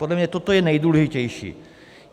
Podle mě toto je nejdůležitější.